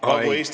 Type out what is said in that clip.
Aitäh!